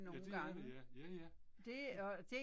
Ja det er det ja, ja ja